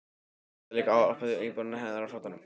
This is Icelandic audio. Hann hafði þá álpast inn í íbúðina hennar á flóttanum!